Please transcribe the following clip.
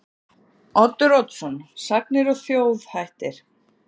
Oddur Oddsson: Sagnir og þjóðhættir.